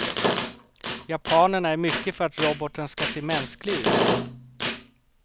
Japanerna är mycket för att roboten ska se mänsklig ut.